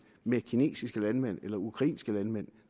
med kinesiske landmænd eller ukrainske landmænd